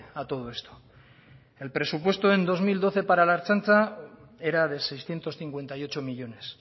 a todo esto el presupuesto en dos mil doce para la ertzaintza era de seiscientos cincuenta y ocho millónes